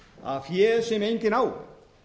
að fé sem enginn á